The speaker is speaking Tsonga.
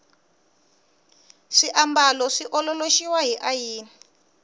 swiambalo swi ololoxiwa hi ayini